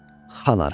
Xan arxı.